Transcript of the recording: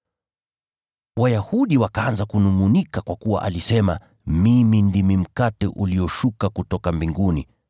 Wayahudi wakaanza kunungʼunika kwa kuwa alisema, “Mimi ndimi mkate ulioshuka kutoka mbinguni.”